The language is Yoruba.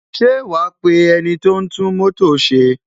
Ṣé wa pe ẹniti o ń tún mótò ṣe?